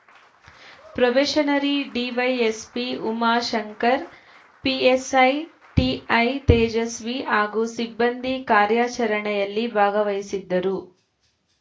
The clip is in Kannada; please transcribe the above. ಪ್ರೊಬೇಷನರಿ ಡಿವೈಎಸ್‌ಪಿ ಉಮಾಶಂಕರ್‌ ಪಿಎಸ್‌ಐ ಟಿಐತೇಜಸ್ವಿ ಹಾಗೂ ಸಿಬ್ಬಂದಿ ಕಾರ್ಯಾಚರಣೆಯಲ್ಲಿ ಭಾಗವಹಿಸಿದ್ದರು